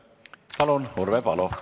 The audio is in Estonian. Palun, Urve Palo!